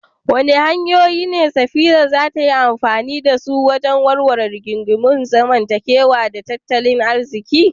Wadanne hanyoyi ne Safira za ta yi amfani da su wajen warware rigingimun zamantakewa da tattalin arziki?